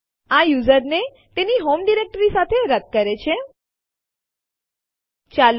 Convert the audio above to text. તે માટે આપણે લખીશું આરએમ testdirએબીસી1 testdirએબીસી2 અને Enter કળ દબાવો